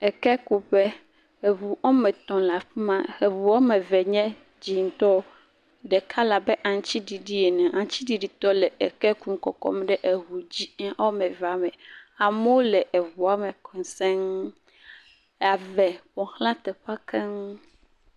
Ekekuƒe, eŋu woame etɔ̃ le afi ma, eŋu woame eve nye dzɛ̃tɔ, ɖeka le abe aŋutiɖiɖi ene, aŋutiɖiɖitɔ le eke kum le kɔkɔm ɖe eŋu dzɛ̃ woame evea me, amewo le eŋua me… ave ƒo xla teƒea keŋ.